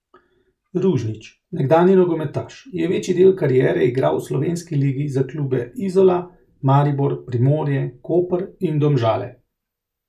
Ružnić, nekdanji nogometaš, je večji del kariere igral v slovenski ligi za klube Izola, Maribor, Primorje, Koper in Domžale.